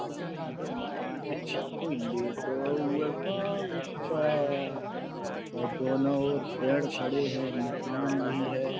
बड़ा सुन्दर मकान इस पर कोई लेटो हुआ है का ऊपर और दोनों ओर पेड़ खड़े हैं मकान भी है।